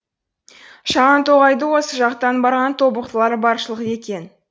шағантоғайда осы жақтан барған тобықтылар баршылық екен